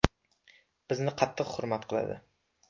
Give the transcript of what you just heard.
Bizni qattiq hurmat qiladi.